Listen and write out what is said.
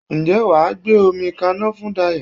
Ǹjẹ́ wà á gbé omi kaná fún Dayọ̀?